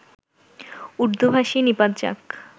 উর্দুভাষী নিপাত যাক